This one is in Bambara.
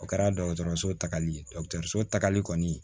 O kɛra dɔgɔtɔrɔso tagali ye so tagali kɔni